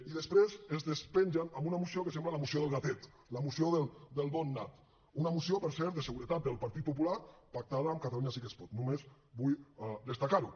i després es despengen amb una moció que sembla la moció del gatet la moció del bon nat una moció per cert de seguretat del partit popular pactada amb catalunya sí que es pot només vull destacar ho